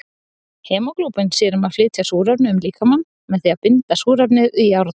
Hemóglóbín sér um að flytja súrefni um líkamann með því að binda súrefnið við járn.